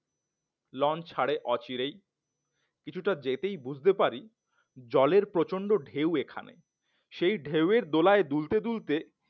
launch ছাড়ে অচিরেই কিছুটা যেতেই বুঝতে পারি জলের প্রচন্ড ঢেউ এখানে সেই ঢেউয়ের দোলায় দুলতে দুলতে